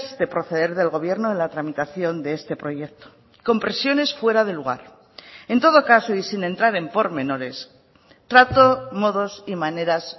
de proceder del gobierno en la tramitación de este proyecto con presiones fuera de lugar en todo caso y sin entrar en pormenores trato modos y maneras